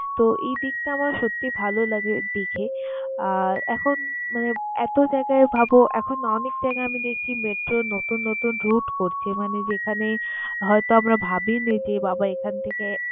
তো, এই দিকটা আমার সত্যিই ভালো লাগে দেখে। আর এখন মানে এত জায়গায় ভাবো এখন না অনেক জায়গায় আমি দেখছি metro র নতুন নতুন root করছে। মানে যেখানে হয়তো আমরা ভাবই নি যে বাবা এখান থেকে